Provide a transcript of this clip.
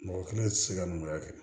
Mɔgɔ kelen tɛ se ka numuya kɛ